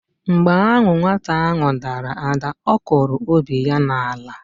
Mgbe ahụ nwata ahụ dara ada, ọ kụrụ obi ya n'ala.